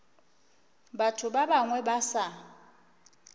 batho ba bangwe ba sa